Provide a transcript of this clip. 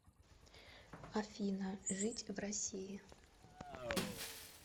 афина жить в россии